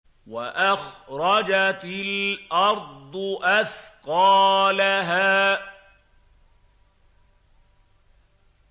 وَأَخْرَجَتِ الْأَرْضُ أَثْقَالَهَا